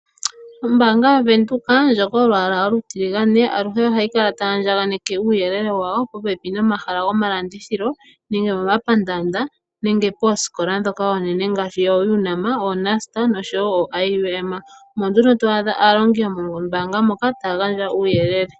Ombaanga yovenduka ndjo yolwaala olutiligane aluhe ohayi kala tayi andjakaneke uuyelele wayo popepi nomahala gomalandithilo nenge momapandaanda nenge pooskola dhoka oonene ngaashi oUNAM, oNUST noshowo IUM omo nduno twaadha aalongi yomombaanga mono taya gandja uuyelele.